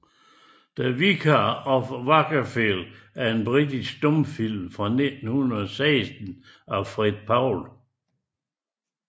The Vicar of Wakefield er en britisk stumfilm fra 1916 af Fred Paul